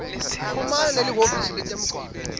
chumana nelihhovisi letemgwaco